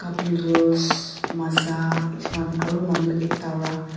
cup noodles maaza etu khan aru manu ekta para.